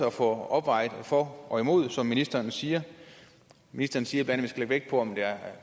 at få vejet for og imod som ministeren siger ministeren siger bla at vi skal lægge vægt på om der